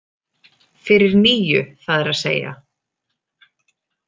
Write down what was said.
Fyrir níu, það er að segja.